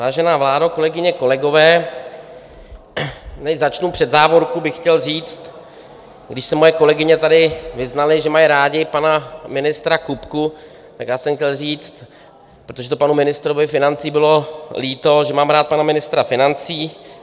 Vážená vládo, kolegyně, kolegové, než začnu, před závorku bych chtěl říct: když se moje kolegyně tady vyznaly, že mají rády pana ministra Kupku, tak já jsem chtěl říct, protože to panu ministrovi financí bylo líto, že mám rád pana ministra financí.